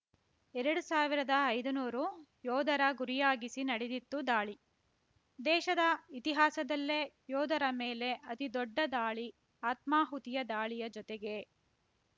ಎರಡು ಸಾವಿರದ ಐದುನೂರು ಯೋಧರ ಗುರಿಯಾಗಿಸಿ ನಡೆದಿತ್ತು ದಾಳಿ ದೇಶದ ಇತಿಹಾಸದಲ್ಲೇ ಯೋಧರ ಮೇಲೆ ಅತಿದೊಡ್ಡ ದಾಳಿ ಆತ್ಮಾಹುತಿ ದಾಳಿಯ ಜೊತೆಗೇ